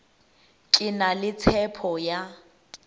ke na le tshepo ya